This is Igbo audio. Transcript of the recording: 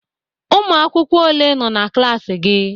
Ụmụ akwụkwọ ole nọ na klaasị gị?